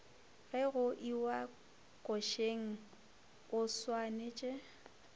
ge go iwa košeng oswanetše